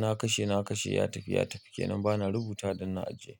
Na kashe, na kashe ya tafi, ya tafi kenan ba na rubuta don na ajiye.